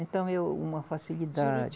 Então é uma facilidade.